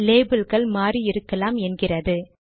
label கள் மாறி இருக்கலாம் என்கிறது